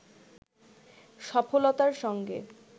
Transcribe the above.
সফলতার সঙ্গে